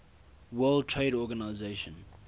world trade organisation